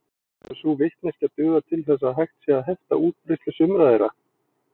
Hefur sú vitneskja dugað til þess að hægt sé að hefta útbreiðslu sumra þeirra.